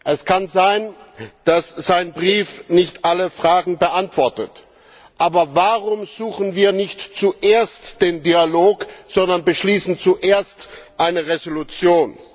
Es kann sein, dass sein Brief nicht alle Fragen beantwortet, aber warum suchen wir nicht zuerst den Dialog, sondern beschließen zuerst eine Resolution.